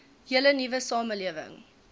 hele nuwe samelewing